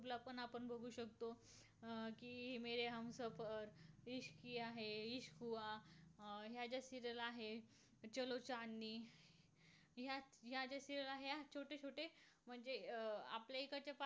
अं कि ह्या ज्या serial आहेत. ह्या ज्या serial आहे. ह्यात छोटे छोटे म्हणजे अं आपल्या इकडचे